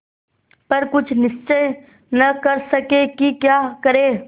पर कुछ निश्चय न कर सके कि क्या करें